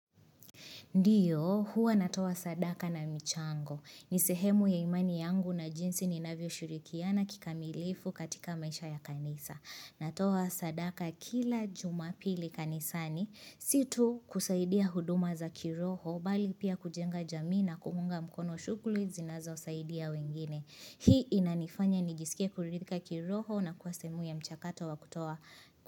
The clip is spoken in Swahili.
Ndio, huwa natoa sadaka na michango. Ni sehemu ya imani yangu na jinsi ninavyo shirikiana kikamilifu katika maisha ya kanisa. Natoa sadaka kila jumapili kanisani. Si tu kusaidia huduma za kiroho, bali pia kujenga jamii na kuunga mkono shughuli zinazo saidia wengine. Hii inanifanya nijisikia kuridhika kiroho na kua sehemu ya mchakato wa kutoa.